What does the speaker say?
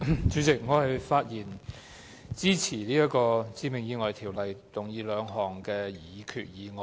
主席，我發言支持根據《致命意外條例》動議的兩項擬議決議案。